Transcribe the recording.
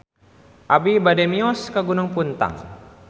Abi bade mios ka Gunung Puntang